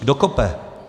Kdo kope?